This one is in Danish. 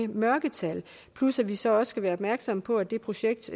mørketal plus at vi så også skal være opmærksomme på at det projekt